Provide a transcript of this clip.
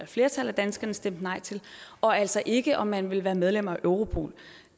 flertal af danskerne stemte nej til og altså ikke om man ville være medlem af europol